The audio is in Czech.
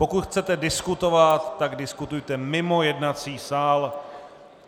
Pokud chcete diskutovat, tak diskutujte mimo jednací sál.